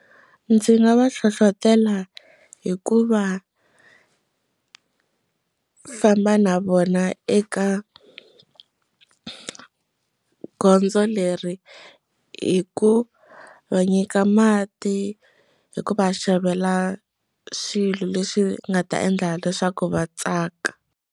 Ndzi nga va hlohlotela hikuva famba na vona eka gondzo leri hi ku va nyika mati hi ku va xavela swilo leswi nga ta endla leswaku va tsaka.